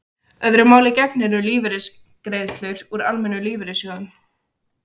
Öðru máli gegnir um lífeyrisgreiðslur úr almennum lífeyrissjóðum.